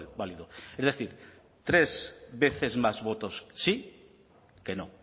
válido es decir tres veces más votos sí que no